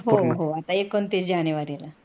हो हो आता एकोणतीस जानेवरी ला